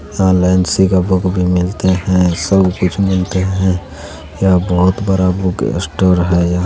यहाँ नैन्सी का बुक भी मिलते है सब कुछ मिलते है यहाँ बहुत बड़ा बुक स्टोर है यहां।